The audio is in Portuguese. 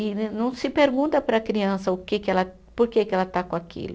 E não não se pergunta para a criança o que que ela, por que que ela está com aquilo.